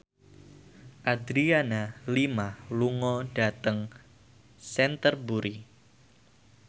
Adriana Lima lunga dhateng Canterbury